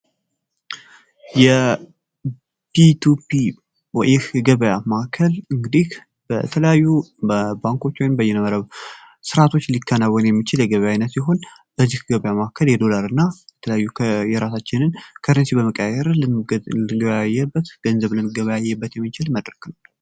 የፒቱፒ ይህ ገበያ ማከል እንግዲህ በተለያዩ በባንኮች ወይም በይነመረብ ስርዓቶች ሊካናወን የሚችል የገበያ አይነት ሲሆን በዚህ ገብያ ማከል የዶላር እና በተለያዩ የራሳችንን ከረንሲ በመቀየር ልንገበያይበት ገንዘብልን ልንገበያይበት የሚችል መድረክ ነው።